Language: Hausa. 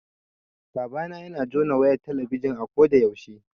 Babana yana jona wayar talabijin a ko da yaushe